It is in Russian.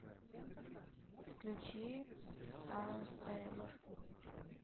включи старсэйлор